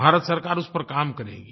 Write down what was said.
भारत सरकार उस पर काम करेगी